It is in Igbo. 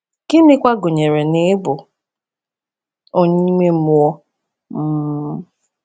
Gịnịkwa gụnyere n’ịbụ onye ime mmụọ?’ um